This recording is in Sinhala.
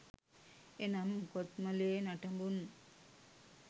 එනම් කොත්මලේ නටබුන්